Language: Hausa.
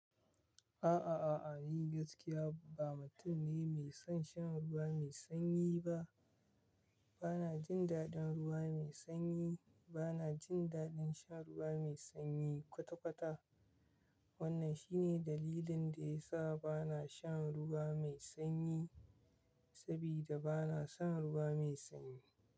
A a a, ni gaskiya ba mutum ne mai son shan ruwa mai sanyi ba. Bana jin daɗin ruwa mai sanyi. Bana jin daɗin shan ruwa mai sanyi kwata- kwata. Wannan shi ne dalilin da ya sa bana shan ruwa mai sanyi sabida bana son ruwa mai sanyi.